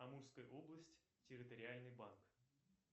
амурская область территориальный банк